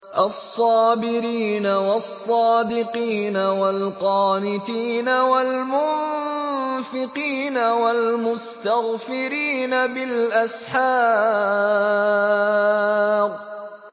الصَّابِرِينَ وَالصَّادِقِينَ وَالْقَانِتِينَ وَالْمُنفِقِينَ وَالْمُسْتَغْفِرِينَ بِالْأَسْحَارِ